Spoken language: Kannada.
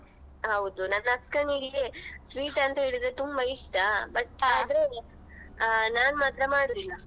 ಹೌದು ನನ್ನ ಅಕ್ಕನಿಗೆ sweet ಅಂತೇಳಿದ್ರೆ ತುಂಬ ಇಷ್ಟ but ಆದ್ರೂ ಅಹ್ ನಾನ್ ಮಾತ್ರ ಮಾಡುದಿಲ್ಲ.